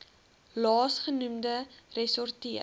laas genoemde ressorteer